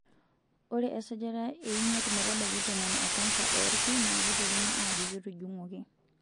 Ore easajata e imiet metabaiki tomon e kansa oolki na keitekini ajo ketujung'uoki.